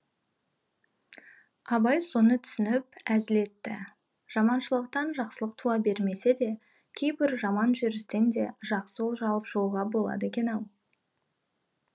абай соны түсініп әзіл етті жаманшылықтан жақсылық туа бермесе де кейбір жаман жүрістен де жақсы олжа алып шығуға болады екен ау